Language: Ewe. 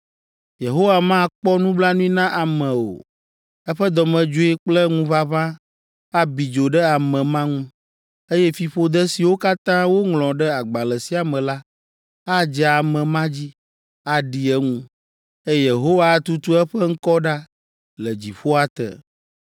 Yehowa makpɔ nublanui na ame o! Eƒe dɔmedzoe kple ŋuʋaʋã abi dzo ɖe ame ma ŋu, eye fiƒode siwo katã woŋlɔ ɖe agbalẽ sia me la adze ame ma dzi, aɖi eŋu, eye Yehowa atutu eƒe ŋkɔ ɖa le dziƒoa te.